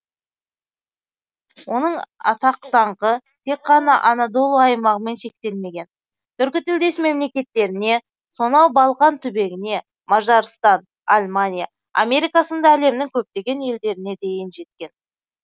оның атақ даңқы тек қана анадолу аймағымен шектелмеген түркітілдес мемлекеттеріне сонау балқан түбегіне мажарстан алмания америка сынды әлемнің көптеген елдеріне дейін жеткен